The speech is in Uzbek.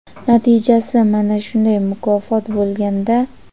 natijasi mana shunday mukofot bo‘lganda.